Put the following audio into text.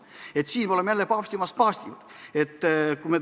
Sellega me oleks jälle paavstist paavstim.